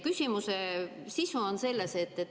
Küsimuse sisu on selles.